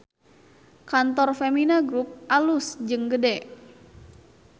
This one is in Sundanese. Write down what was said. Kantor Femina Grup alus jeung gede